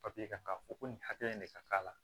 Papiye kan ka fɔ ko nin hakɛ in de ka k'a la